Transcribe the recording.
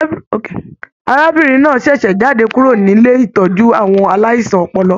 Arábìnrin náà ṣẹṣẹ jáde kúrò nílé ìtọjú àwọn aláìsàn ọpọlọ.